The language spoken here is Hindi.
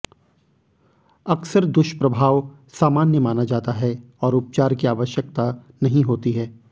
अक्सर दुष्प्रभाव सामान्य माना जाता है और उपचार की आवश्यकता नहीं होती है